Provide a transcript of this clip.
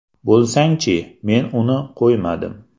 Bo‘lsangchi!” men uni qo‘ymadim.